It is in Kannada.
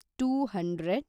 two hundred